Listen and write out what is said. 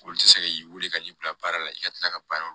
Olu tɛ se k'i weele ka n'i bila baara la i ka tila ka baara